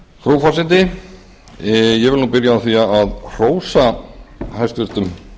frú forseti ég vil byrja á því að hrósa hæstvirtur